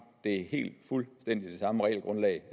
det er helt fuldstændig det samme regelgrundlag